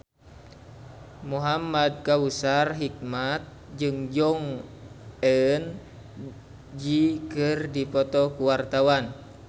Muhamad Kautsar Hikmat jeung Jong Eun Ji keur dipoto ku wartawan